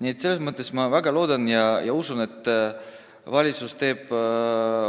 Nii et ma väga loodan ja usun, et valitsus teeb